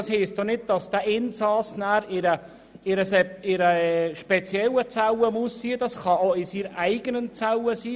Das bedeutet ja nicht, dass der Insasse in einer speziellen Zelle sitzen muss, er kann sich ja auch in seiner eigenen Zelle befinden.